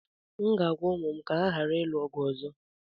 M ga-agwa ụmụ m ka ha ghara ịlụ ọgụ ọzọ